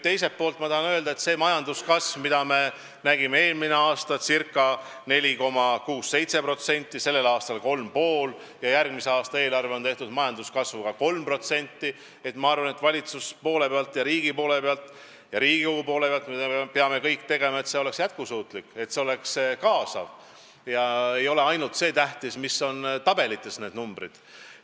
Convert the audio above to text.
Teiselt poolt ma tahan öelda, et majanduskasv, mida me nägime eelmine aasta ca 4,6–4,7%, sellel aastal 3,5 ja järgmise aasta eelarve on tehtud majanduskasvuga 3%, et ma arvan, et valitsuse poole pealt ja riigi poole pealt ja Riigikogu poole pealt me peame kõik tegema, et see oleks jätkusuutlik, et see oleks kaasav ja ei ole ainult see tähtis, mis on tabelites need numbrid.